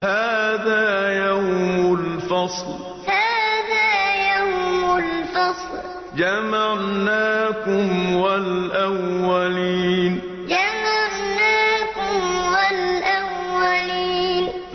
هَٰذَا يَوْمُ الْفَصْلِ ۖ جَمَعْنَاكُمْ وَالْأَوَّلِينَ هَٰذَا يَوْمُ الْفَصْلِ ۖ جَمَعْنَاكُمْ وَالْأَوَّلِينَ